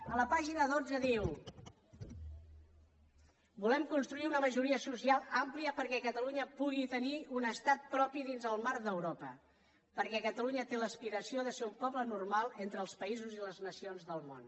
a la pàgina dotze diu volem construir una majoria social àmplia perquè catalunya pugui tenir un estat propi dins el marc d’europa perquè catalunya té l’aspiració de ser un poble normal entre els països i les nacions del món